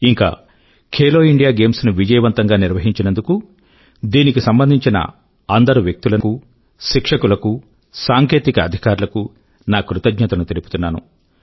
ఇంకా Khelo India games ను విజయవంతం గా నిర్వహించినందుకు దీనికి సంబంధించిన అందరు వ్యక్తుల కూ శిక్షకుల కూ సాంకేతిక అధికారుల కూ నా కృతజ్ఞతను తెలుపుతున్నాను